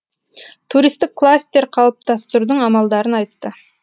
туристік кластер қалыптастырудың амалдарын айтты